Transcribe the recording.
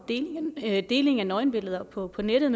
deling af nøgenbilleder på på nettet